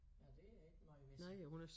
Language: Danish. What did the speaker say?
Ja det er ikke meget ved så